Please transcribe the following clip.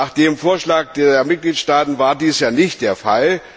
Nach dem Vorschlag der Mitgliedstaaten war dies ja nicht der Fall.